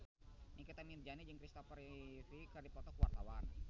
Nikita Mirzani jeung Kristopher Reeve keur dipoto ku wartawan